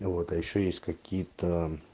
ну вот а ещё есть какие-то